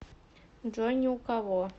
джой ни у кого